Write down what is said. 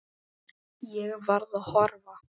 Ég varð að horfa.